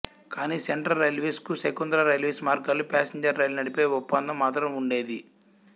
కానీ central railways కు Shakuntala railways మార్గాలలో ప్యాసింజర్ రైళ్లు నడిపే ఒప్పందం మాత్రం వుండేది